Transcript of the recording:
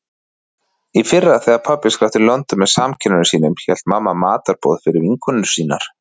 Í fyrra þegar pabbi skrapp til London með samkennurum sínum hélt mamma matarboð fyrir vinkonur sínar.